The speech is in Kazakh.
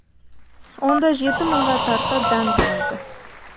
онда жеті мыңға тарта дән болады